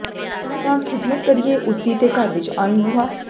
ਤਾਂ ਖ਼ਿਦਮਤ ਕਰੀਏ ਉਸਦੀ ਤੇ ਘਰ ਵਿੱਚ ਆਨ ਬੂਹਾ